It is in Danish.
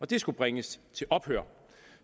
det skulle bringes til ophør